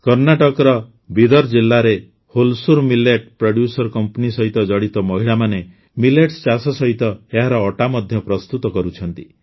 କର୍ଣ୍ଣାଟକର ହିଁ ବିଦର୍ ଜିଲ୍ଲାରେ ହୋଲ୍ସୁର ମିଲେଟ୍ ପ୍ରଡ୍ୟୁସର କମ୍ପାନୀ ସହିତ ଜଡ଼ିତ ମହିଳାମାନେ ମିଲେଟ୍ସ ଚାଷ ସହିତ ଏହାର ଅଟା ମଧ୍ୟ ପ୍ରସ୍ତୁତ କରୁଛନ୍ତି